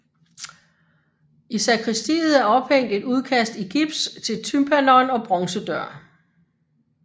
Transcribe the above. I sakristiet er ophængt et udkast i gips til tympanon og bronzedør